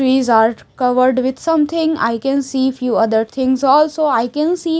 trees are covered with something I can see few other things also I can see--